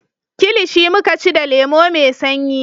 Kilishi muka ci da lemo mai sanyi